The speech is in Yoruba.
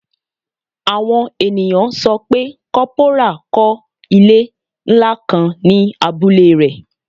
Awọn eniyan sọ pe corporal kọ ile nla kan ni abule rẹ